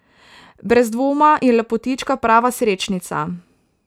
Brez dvoma je lepotička prava srečnica.